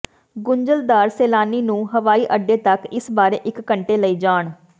ਗੁੰਝਲਦਾਰ ਸੈਲਾਨੀ ਨੂੰ ਹਵਾਈਅੱਡਾ ਤੱਕ ਇਸ ਬਾਰੇ ਇੱਕ ਘੰਟੇ ਲਈ ਜਾਣ